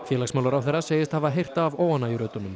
félagsmálaráðherra segist hafa heyrt af